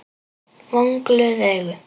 Vonglöð augun.